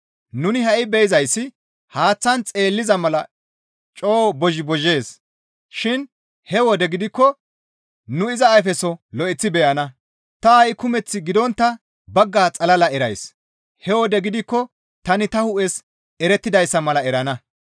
Nuni ha7i be7izayssi haaththan xeelliza mala coo bozhi bozhees shin he wode gidikko nu iza ayfeso lo7eththi beyana; ta ha7i kumeth gidontta bagga xalala erays; he wode gidikko tani ta hu7es erettidayssa mala erana.